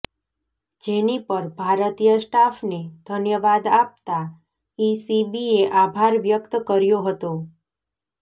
જેની પર ભારતીય સ્ટાફને ધન્યવાદ આપતા ઇસીબીએ આભાર વ્યક્ત કર્યો હતો